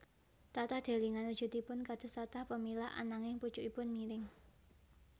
Tatah delingan wujudipun kados tatah pemilah ananging pucukipun miring